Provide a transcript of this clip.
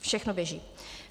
Všechno běží.